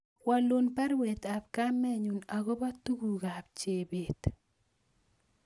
Walun baruet ab kamenyun agobo tuguk ab Chebet